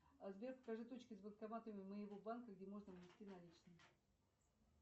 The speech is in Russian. сбер покажи точки с банкоматами моего банка где можно внести наличные